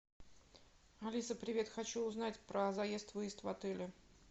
алиса привет хочу узнать про заезд выезд в отеле